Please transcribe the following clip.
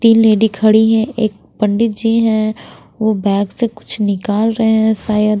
तीन लेडी खड़ी है एक पंडित जी हैं वो बैग से कुछ निकाल रहे है शायद--